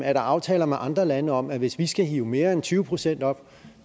er aftaler med andre lande om at hvis vi skal hive mere end tyve procent op